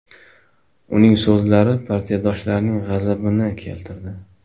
Uning so‘zlari partiyadoshlarining g‘azabini keltirdi.